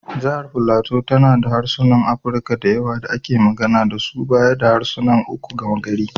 Jihar Filato tana da harsunan Afirka da yawa da ake magana da su baya da harsuna uku na gama-gari.